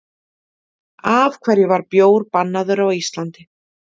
Af hverju var bjór bannaður á Íslandi?